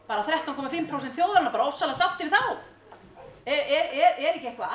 þrettán komma fimm prósent þjóðarinnar bara ofboðslega sáttir við þá er ekki eitthvað að